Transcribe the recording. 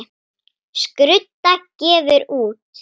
Skrudda gefur út.